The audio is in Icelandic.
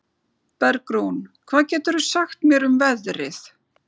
Bergrún, hvað geturðu sagt mér um veðrið?